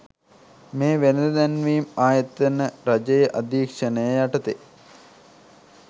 මේ වෙළද දැන්වීම් ආයතන රජයේ අදීක්ෂණය යටතේ